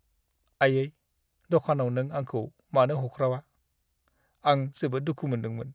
आयै! दखानाव नों आंखौ मानो हख्रावा, आं जोबोद दुखु मोनदोंमोन।